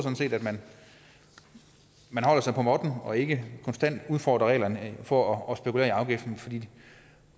at man holder sig på måtten og ikke konstant udfordrer reglerne for at spekulere i afgiften for det